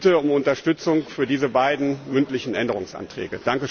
Ich bitte um Unterstützung für diese beiden mündlichen Änderungsanträge.